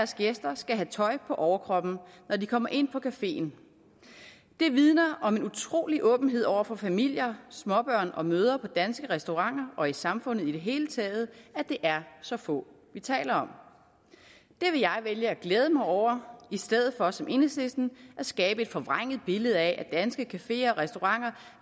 gæster skal have tøj på overkroppen når de kommer ind på cafeen det vidner om en utrolig åbenhed over for familier småbørn og mødre på danske restauranter og i samfundet i det hele taget at det er så få vi taler om det vil jeg vælge at glæde mig over i stedet for som enhedslisten at skabe et forvrænget billede af at danske cafeer og restauranter